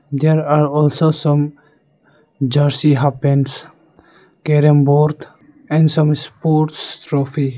there are also some jersey half pants carrom board and some sports trophy.